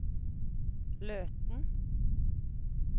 Løten